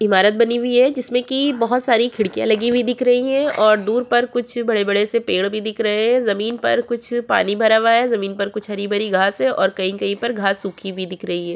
इमारत बनी हुई है जिसमें की बहुत सारी खिड़कियाँ लगी हुई दिख रही है और दूर पर कुछ बड़े-बड़े से पेड़ पर देख रहे है जमीन पर कुछ पानी भरा हुआ है जमीन पर कुछ हरी- भरी घास है और कहीं पर घास सुखी हुई दिख रही हैं।